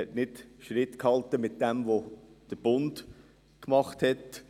Er hielt mit dem, was vom Bund kam, nicht Schritt.